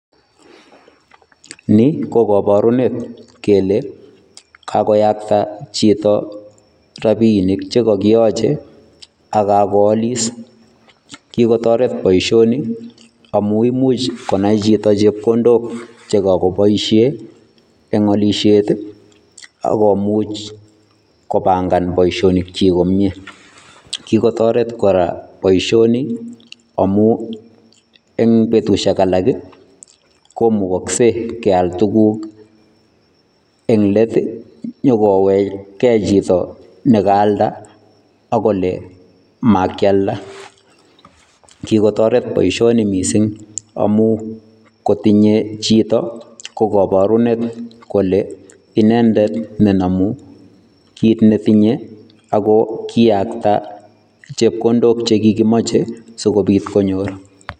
Nii ko koborunet kelee kakoyakta chito rabinik che kokiyoche ak kakoalis, kikotoret boishoni amun imuch konai chito chepkondok chekokoboishen eng' olishet ak komuch kobang'an boishonikyik komnye, kikotoret kora boishoni omuun en betushek alak komukokse kial tukuk eng' leet inyokowechke chito nekaalda ak Kole makialda, kikotoret boishoni mising amun kotinye chito ko koborunet kole inendet ne nomu kiit netinye ak ko kiyakta chepkondok chekikimoche sikobiit konyor.